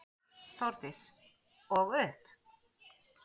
Þórdís: Og upp?